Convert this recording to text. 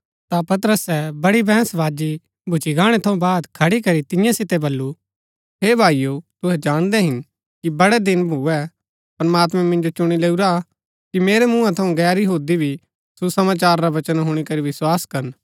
ता पतरसे बड़ी बैहंसबाजी भूच्ची गाणै थऊँ बाद खड़ी करी तियां सितै बल्लू हे भाईओ तुहै जाणदै हिन कि बड़ै दिन भुऐ प्रमात्मैं मिन्जो चुणी लैऊरा कि मेरै मूँहा थऊँ गैर यहूदी भी सुसमाचार रा वचन हुणी करी विस्वास करन